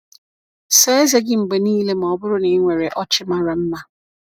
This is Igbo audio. Saa eze gị mgbe niile ma ọ bụrụ na ị nwere ọchị mara mma.